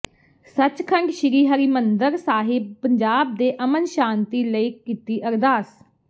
ਸਚਖੰਡ ਸ੍ਰੀ ਹਰਿਮੰਦਰ ਸਾਿਹਬ ਪੰਜਾਬ ਦੇ ਅਮਨ ਸ਼ਾਂਤੀ ਲਈ ਕੀਤੀ ਅਰਦਾਸ